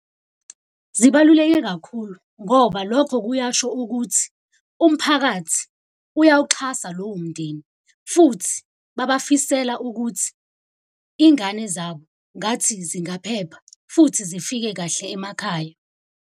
Zibaluleke kakhulu ngoba lokho kuyasho ukuthi umphakathi uyawuxhasa lowo mndeni. Futhi babafisela ukuthi iy'ngane zabo ngathi zingaphepha, futhi zifike kahle emakhaya.